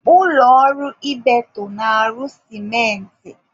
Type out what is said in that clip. Ụlọ ọrụ Ibeto na-arụ sịmentị.